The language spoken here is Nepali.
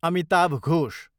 अमिताभ घोष